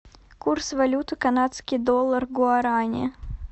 курс валюты канадский доллар гуарани